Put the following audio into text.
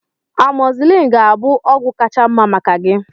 Amọzilin ga-abụ ọgwụ kacha mma maka gị